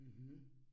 Mh